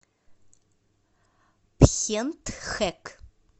пхентхэк